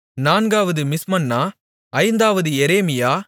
நான்காவது மிஸ்மன்னா ஐந்தாவது எரேமியா